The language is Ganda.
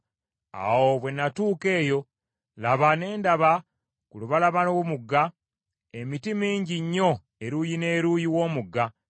Awo bwe natuuka eyo, laba ne ndaba ku lubalama lw’omugga emiti mingi nnyo eruuyi n’eruuyi w’omugga.